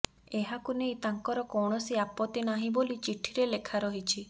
ଏହାକୁ ନେଇ ତାଙ୍କର କୌଣସି ଆପତ୍ତି ନାହିଁ ବୋଲି ଚିଠିରେ ଲେଖାରହିଛି